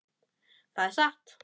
Það er satt.